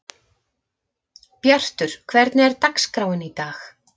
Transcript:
Bjartur, hvernig er dagskráin í dag?